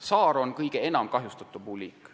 Saar on meil kõige enam kahjustatud puuliik.